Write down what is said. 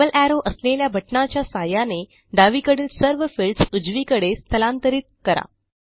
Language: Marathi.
डबल एरो असलेल्या बटणाच्या सहाय्याने डावीकडील सर्व फील्ड्स उजवीकडे स्थलांतरित करा